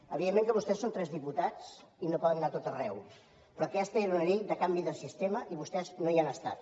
evidentment que vostès són tres diputats i no poden anar a tot arreu però aquesta era una llei de canvi de sistema i vostès no hi han estat